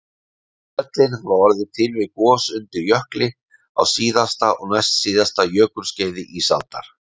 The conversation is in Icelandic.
Fjöllin hafa orðið til við gos undir jökli á síðasta og næstsíðasta jökulskeiði ísaldar